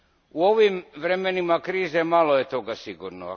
U ovim vremenima krize, malo je toga sigurno.